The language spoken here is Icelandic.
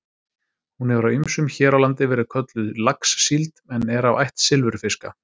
Hún hefur af ýmsum hér á landi verið kölluð laxsíld en er af ætt silfurfiska.